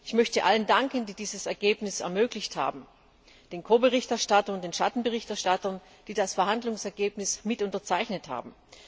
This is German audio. Ich möchte allen danken, die dieses Ergebnis ermöglicht haben den Ko Berichterstattern und den Schatten Berichterstattern, die das Verhandlungsergebnis mit unterzeichnet haben.